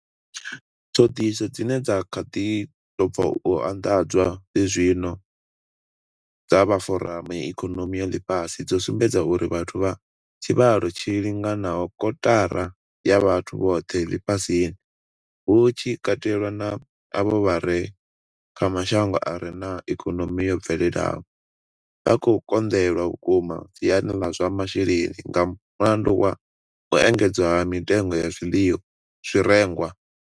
Ṱhoḓisiso dzine dza kha ḓi tou bva u anḓadzwa zwenezwino dza vha Foramu ya Ikonomi ya Ḽifhasi dzo sumbedza uri vhathu vha tshivhalo tshi linganaho kotara ya vhathu vhoṱhe ḽifhasini, hu tshi katelwa na avho vha re kha mashango a re na ikonomi yo bvelelaho, vha khou konḓelwa vhukuma siani ḽa zwa masheleni nga mulandu wa u engedzea ha mitengo ya zwirengwa.